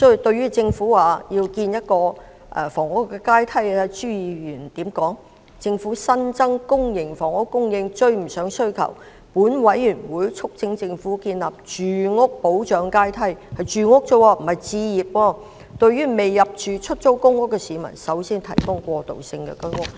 對於政府表示要建立房屋階梯，朱議員說："政府新增的公營房屋供應追不上需求，本委員會促請政府建立住屋保障階梯"——是住屋而已，不是置業——"對未入住出租公屋的市民優先提供過渡性公屋"。